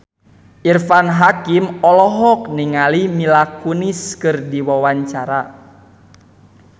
Irfan Hakim olohok ningali Mila Kunis keur diwawancara